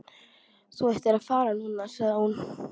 Þú ættir að fara núna, sagði hún.